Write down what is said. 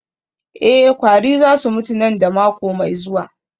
Eh kwari za su mutu nan da mako mai zuwa